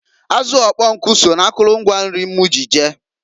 Azụ ụkpọnkụ so na akụlụ ngwa nri m ji je.